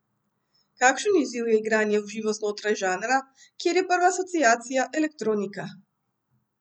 Kakšen izziv je igranje v živo znotraj žanra, kjer je prva asociacija elektronika?